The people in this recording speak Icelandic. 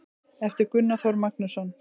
eftir gunnar þór magnússon